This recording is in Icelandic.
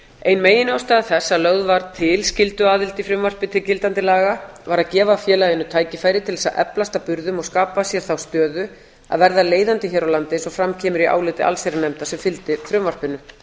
ein meginástæða þess að lögð var til skylduaðild í frumvarpi til gildandi laga var að gefa félaginu tækifæri til árs að eflast að burðum og skapa sér þá stöðu að verða leiðandi hér á landi eins og fram kemur í áliti allsherjarnefndar sem fylgdi frumvarpinu